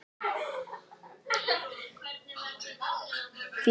Vébjörg, lækkaðu í græjunum.